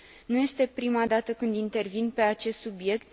Nu este prima dată când intervin pe acest subiect.